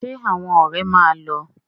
Ṣé àwọn ọ̀rẹ́ máa lọ?